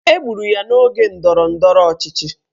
Egburu ya n'oge ndọrọndọrọ ọchịchị